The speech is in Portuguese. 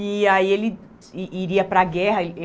E aí ele i iria para a guerra.